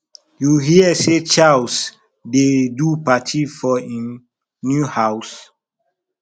you hear say charles dey do party for im new house